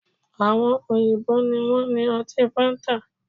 Àwọn òyìnbó ni wọ́n ní ọtí fáńtà